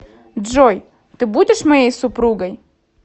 джой ты будешь моей супругой